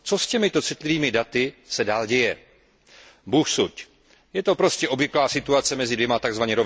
Co se s těmito citlivými daty dál děje? Bůh suď! Je to prostě obvyklá situace mezi dvěma tzv.